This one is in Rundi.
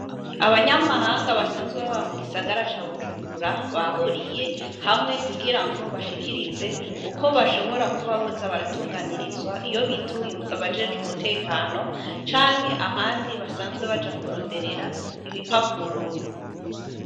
Abanyamahanga basanzwe baba mu gisagaraca Bujumbura bahuriye hamwe kugira ngo bashikirize uko bashobora kuba boza baratunganirizwa iyo bituye abajejwe umutekano canke ahandi basanzwe Baja kuronderera ibipapuro.